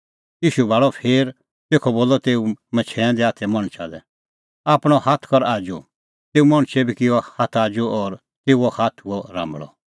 ईशू भाल़अ फेर तेखअ बोलअ तेऊ मछैंऐं दै हाथे मणछा लै आपणअ हाथ कर आजू तेऊ मणछै बी किअ हाथ आजू और तेऊओ हाथ हुअ राम्बल़अ